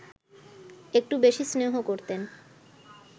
একটু বেশি স্নেহ করতেন